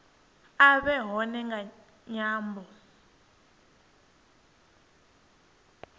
a vhe hone nga ṅwambo